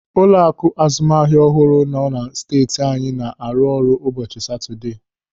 Ụlọaku azụmahịa ọhụrụ nọ na steeti anyị na-arụ ọrụ n'ụbọchị Satọdee.